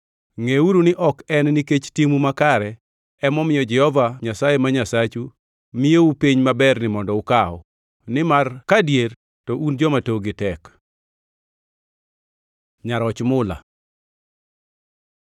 Ngʼeuru ni ok en nikech timu makare emomiyo Jehova Nyasaye ma Nyasachu miyou piny maberni mondo ukaw, nimar kadier to un joma tokgi tek. Nyaroch mula